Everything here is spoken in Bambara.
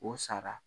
O sara